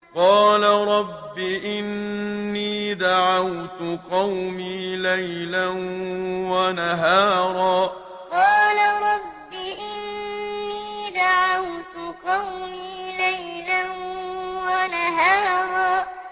قَالَ رَبِّ إِنِّي دَعَوْتُ قَوْمِي لَيْلًا وَنَهَارًا قَالَ رَبِّ إِنِّي دَعَوْتُ قَوْمِي لَيْلًا وَنَهَارًا